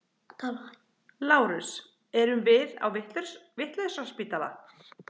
LÁRUS: Erum við á vitlausraspítala?